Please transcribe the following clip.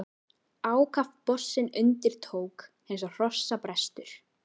Ákaft bossinn undir tók, eins og hrossabrestur!